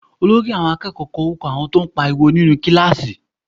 Olórí àwọn akẹ́kọ̀ọ́ kọ orúkọ àwọn tó ń pariwo nínú kíláàsì